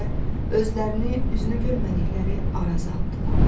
özlərini üzünü görmədikləri Araza atdılar.